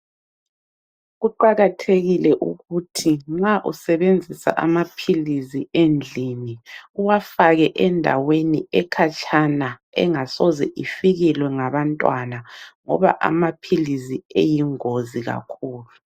Kuqakathekile ukuthi nxa usebenzisa amaphilisi endlini uwafake endaweni ekhatshana engasoze ifikelwe ngabantwana ngoba amaphilizi eyingozi kakhulu.